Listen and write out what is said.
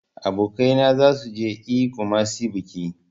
Abokaina zasu je e kumasi biki.